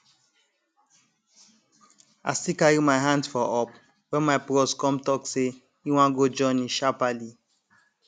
i still carry my hands for up wen my bros come talk say him wan go journey sharperly